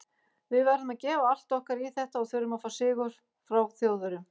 Við verðum að gefa allt okkar í þetta og þurfum að fá sigur frá Þjóðverjum.